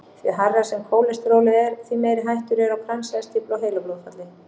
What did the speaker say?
Því hærra sem kólesterólið er, því meiri hætta er á kransæðastíflu og heilablóðfalli.